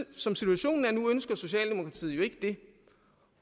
som situationen er nu ønsker socialdemokratiet jo ikke det